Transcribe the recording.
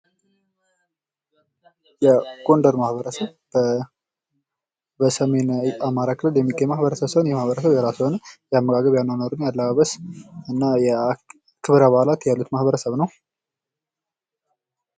የጎንደር ማህበረሰብ በሰሜናዊ አማራ ክፍል የሚገኝ ማህበረሰብ ሲሆን ፤ የራሱ የሆነ የአኗኗር፥ የአመጋገብ፥ ያለባበስ እና የክብረ በዓላት ያሉት ማህበረሰብ ነው።